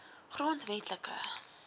grondwetlike